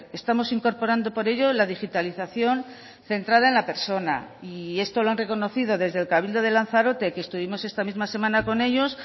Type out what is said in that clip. estamos incorporando por ello la digitalización centrada en la persona y esto lo han reconocido desde el cabildo de lanzarote que estuvimos esta misma semana con ellos